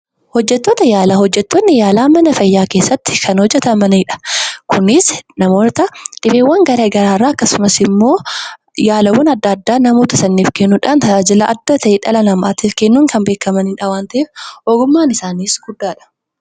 Hojjettoonni yaalaa mana fayyaa keessatti kan hojjetanidha. kunis namoota iddolee garagaraa irra akkasumas yaalawwan adda adda namoota sanaaf kennuudhaan tajaajila adda ta'e namaaf kennuun kan beekkaman waan ta'eef ogummaan isaanis guddaadha.